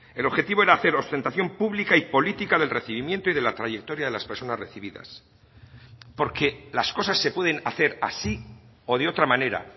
el objetivo era hacer ostentación pública y política del recibimiento y de la trayectoria de las personas recibidas porque las cosas se pueden hacer así o de otra manera